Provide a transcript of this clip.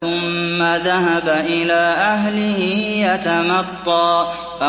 ثُمَّ ذَهَبَ إِلَىٰ أَهْلِهِ يَتَمَطَّىٰ